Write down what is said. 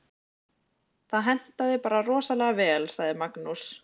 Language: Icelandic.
Það hentaði bara rosalega vel, sagði Magnús.